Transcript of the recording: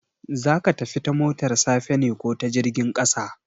Za ka tafi ta motar safa ne ko ta jirgin ƙasa?